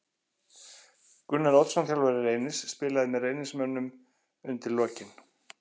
Gunnar Oddsson þjálfari Reynis spilaði með Reynismönnum undir lokin.